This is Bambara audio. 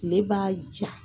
Tile b'a ja.